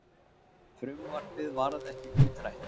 Frumvarpið varð ekki útrætt.